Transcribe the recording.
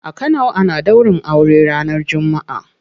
A kano ana daurin aure ranar jumma'a.